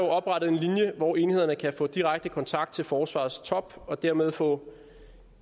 oprettet en linje hvor enhederne kan få direkte kontakt til forsvarets top og dermed få